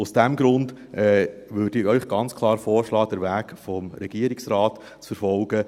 Aus diesem Grund würde ich Ihnen ganz klar vorschlagen, den Weg des Regierungsrates zu verfolgen.